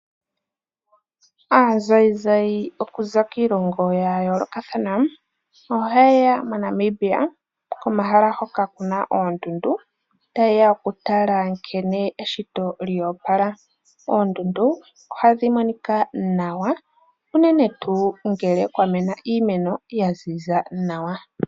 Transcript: Aazayizayi okuza kiilongo ya yoolokathana, ohayeye mo Namibia komahala hoka Kuna oondundu tayeya okutala nkene eshito lyoopala. Oondundu ohadhimonika nawa unene tuu ngele kwamena iimeno yaziza nawa.